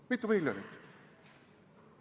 Kui mitu miljonit?